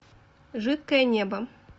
жидкое небо